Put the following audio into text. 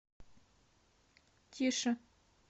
тише